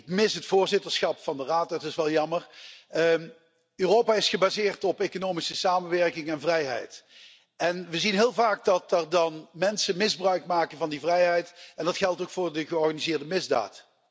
Ik mis het voorzitterschap van de Raad, dat is wel jammer. Europa is gebaseerd op economische samenwerking en vrijheid. We zien heel vaak dat er dan mensen misbruik maken van die vrijheid, en dat geldt ook voor de georganiseerde misdaad.